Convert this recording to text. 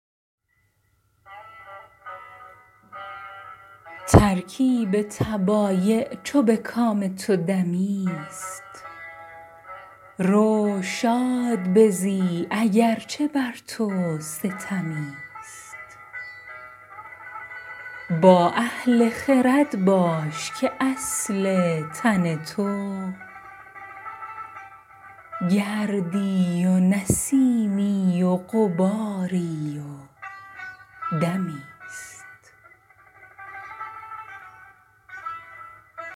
ترکیب طبایع چو به کام تو دمی ست رو شاد بزی اگر چه بر تو ستمی ست با اهل خرد باش که اصل تن تو گردی و نسیمی و غباری و دمی ست